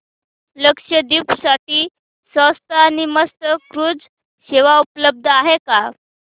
लक्षद्वीप साठी स्वस्त आणि मस्त क्रुझ सेवा उपलब्ध आहे का